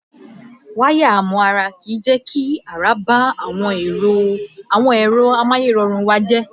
Wáyà amúàrá kìí jẹ́ kí àrá bá àwọn ẹ̀rọ amáyẹ́rọrùn wa jẹ́.